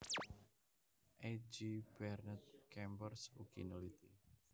A J Bernet Kempers ugi neliti